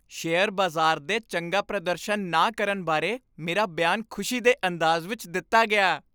Share ਬਾਜ਼ਾਰ ਦੇ ਚੰਗਾ ਪ੍ਰਦਰਸ਼ਨ ਨਾ ਕਰਨ ਬਾਰੇ ਮੇਰਾ ਬਿਆਨ ਖੁਸ਼ੀ ਦੇ ਅੰਦਾਜ਼ ਵਿੱਚ ਦਿੱਤਾ ਗਿਆ।